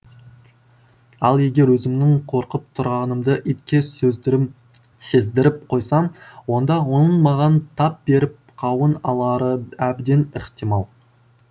ал егер өзімнің қорқып тұрғанымды итке сездіріп қойсам онда оның маған тап беріп қауын алары әбден ықтимал